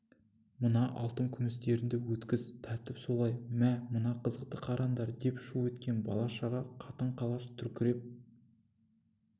мына алтын күмістерінді өткіз тәртіп солай мә мына қызықты қараңдар деп шу еткен бала-шаға қатын-қалаш дүркіреп